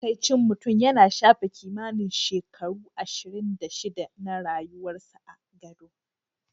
Matsakaicin mutum yana shafe kimanin shekaru ashirin da shida na rayuwarsa a gado.